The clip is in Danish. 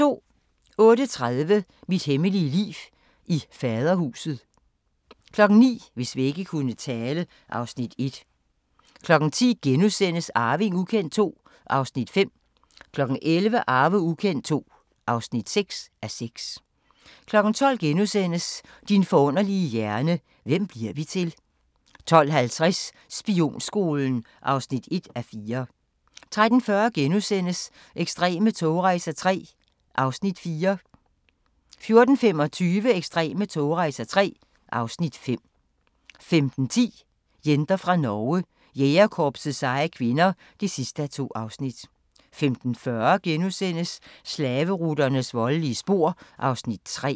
08:30: Mit hemmelige liv i Faderhuset 09:00: Hvis vægge kunne tale (Afs. 1) 10:00: Arving ukendt II (5:6)* 11:00: Arving ukendt II (6:6) 12:00: Din forunderlige hjerne: Hvem bliver vi til? * 12:50: Spionskolen (1:4) 13:40: Ekstreme togrejser III (Afs. 4)* 14:25: Ekstreme togrejser III (Afs. 5) 15:10: Jenter fra Norge: Jægerkorpsets seje kvinder (2:2) 15:40: Slaveruternes voldelige spor (3:4)*